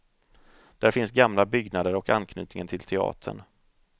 Där finns gamla byggnader och anknytningen till teatern.